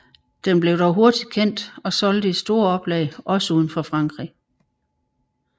Den blev dog hurtig kendt og solgte i store oplag også uden for Frankrig